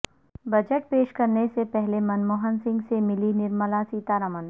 budget پیش کرنے سے پہلے منموہن سنگھ سے ملی نرملا سیتارمن